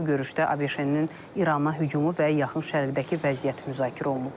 Görüşdə ABŞ-nin İrana hücumu və Yaxın Şərqdəki vəziyyət müzakirə olunub.